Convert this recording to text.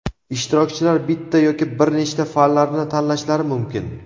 Ishtirokchilar bitta yoki bir nechta fanlarni tanlashlari mumkin.